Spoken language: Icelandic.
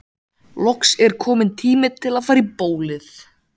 Loks er kominn tími til að fara í bólið.